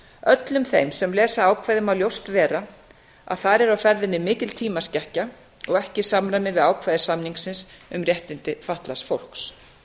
öllum þeim sem lesa ákvæðið má ljóst vera að þar er á ferðinni mikil tímaskekkja og ekki í ákvæði við þarfir samningsins um réttindi fatlaðs fólks